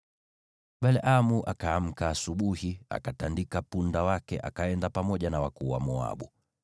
Balaamu akaamka asubuhi, akatandika punda wake akaenda pamoja na wakuu wa Moabu.